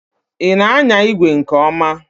Ị na anya igwe nke ọma?